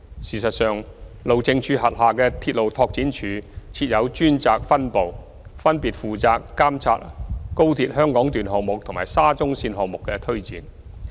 事實上，路政署轄下的鐵路拓展處設有專責分部，分別負責監察高鐵香港段項目和沙中線項目的推展。